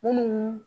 Munnu